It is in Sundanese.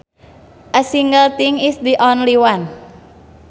A single thing is the only one